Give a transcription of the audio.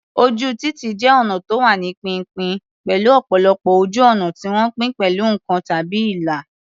Ojú títì jẹ́ ọnà tó wà ní pínpín, pẹ̀lú ọ̀pọ̀lọpọ̀ ojú ọ̀nà tí wọ́n pín pẹ̀lú nǹkan tàbí ìlà.